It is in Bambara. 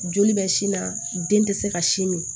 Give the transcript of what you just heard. Joli bɛ sin na den tɛ se ka sin min